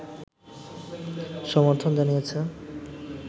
সর্মথন জানিয়েছে